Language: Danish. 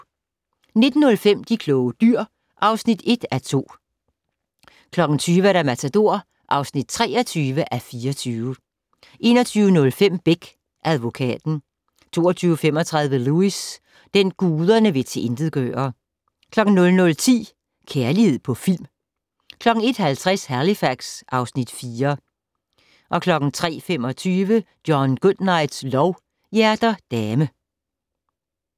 19:05: De kloge dyr (1:2) 20:00: Matador (23:24) 21:05: Beck: Advokaten 22:35: Lewis: Den, guderne vil tilintetgøre 00:10: Kærlighed på film 01:50: Halifax (Afs. 4) 03:25: John Goodnights lov: Hjerter dame